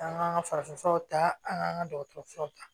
An ka an ka farafin furaw ta an k'an ka dɔgɔtɔrɔsow ta